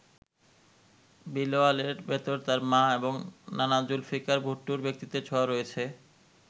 বিলাওয়ালের ভেতর তার মা এবং নানা জুলফিকার ভুট্টোর ব্যক্তিত্বের ছোঁয়া রয়েছে।